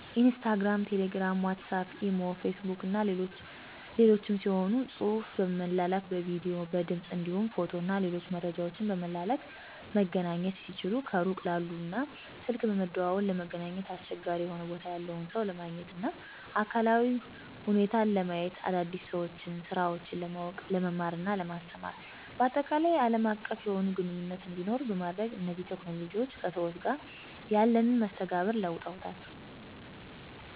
ኢንስታግራም፣ ቴሌግራም፣ ዋትስአፕ፣ ኢሞ፣ ፌስቡክ እና ሌሎችም ሲሆኑ ጽሁፍ በመላላክ፣ በቪዲዮ፣ በድምፅ እንዲሁም ፎቶ እና ሌሎች መረጃወችን በመላላክ መገናኘት ሲችሉ ከሩቅ ላሉ እና ስልክ በመደዋወል ለመገናኘት አስቸጋሪ የሆነ ቦታ ያለን ሰው ለማግኘት እና አካላዊ ሁኔታውን ለማየት፣ አዳዲስ ሰወችንና ስራወችን ለማውቅ፣ ለመማርና ለማስተማር ባጠቃላይ አለም አቀፍ የሆነ ግንኙነት እንዲኖር በማድረግ እነዚህ ቴክኖሎጅዎች ከሰዎች ጋር ያለንን መስተጋብር ለውጠዉታል።